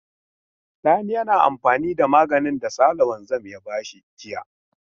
Sani yana amfani da maganin da Sale wanzan ya ba shi jiya.